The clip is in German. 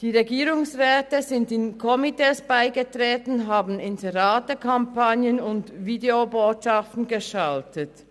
Die Regierungsräte sind Komitees beigetreten und haben Inseratekampagnen und Videobotschaften geschaltet.